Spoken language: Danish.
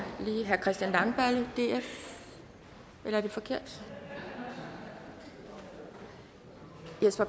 herre christian langballe df eller er det forkert jesper